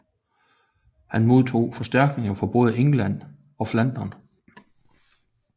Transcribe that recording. Han modtog forstærkninger fra både England og Flandern